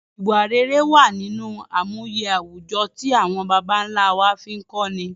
Ìwà rere wa nínú àmúye àwùjọ ti awon bàbá nlá wa fi n kọ́ ni